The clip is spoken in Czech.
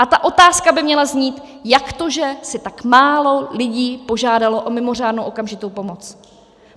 A ta otázka by měla znít: Jak to, že si tak málo lidí požádalo o mimořádnou okamžitou pomoc?